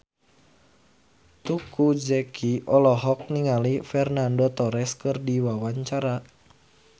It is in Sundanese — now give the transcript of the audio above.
Teuku Zacky olohok ningali Fernando Torres keur diwawancara